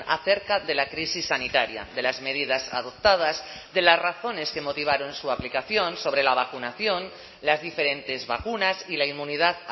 acerca de la crisis sanitaria de las medidas adoptadas de las razones que motivaron su aplicación sobre la vacunación las diferentes vacunas y la inmunidad